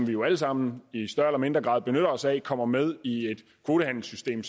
vi jo alle sammen i større eller mindre grad benytter os af kommer med i et kvotehandelssystem